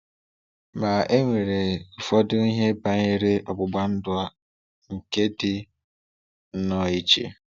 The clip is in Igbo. Ma e nwere ụfọdụ ihe banyere ọgbụgba ndụ a nke dị nnọọ iche.